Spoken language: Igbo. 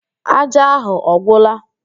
Ájá ahụ ọ gwụla?